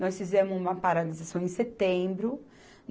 Nós fizemos uma paralisação em setembro.